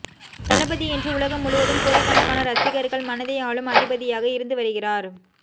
தளபதி இன்று உலகம் முழுவதும் கோடிக்கணக்கான ரசிகர்கள் மனதை ஆளும் அதிபதியாக இருந்து வருகிறார்